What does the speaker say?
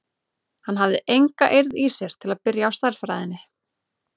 Hann hafði enga eirð í sér til að byrja á stærðfræðinni.